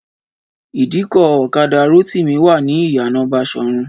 Ìdíkọ̀ ọ̀kadà Rótìmí wà ní ìyànà Baṣọ̀run